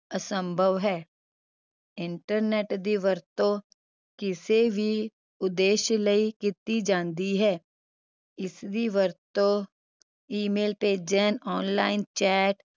ਅਸੰਭਵ ਹੈ internet ਦੀ ਵਰਤੋਂ ਕਿਸੇ ਵੀ ਉਦੇਸ਼ ਲਈ ਕੀਤੀ ਜਾਂਦੀ ਹੈ ਇਸਦੀ ਵਰਤੋਂ email ਭੇਜਣ online chat